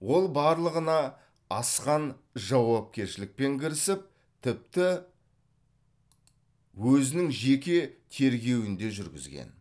ол барлығына асқан жауапкершілікпен кірісіп тіпті өзінің жеке тергеуін де жүргізген